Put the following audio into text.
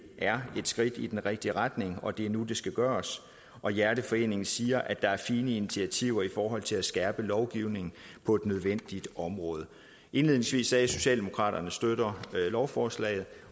er et skridt i den rigtige retning og at det er nu at det skal gøres og hjerteforeningen siger at der er fine initiativer i forhold til at skærpe lovgivningen på et nødvendigt område indledningsvis at socialdemokraterne støtter lovforslaget